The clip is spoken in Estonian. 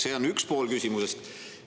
See on üks pool küsimusest.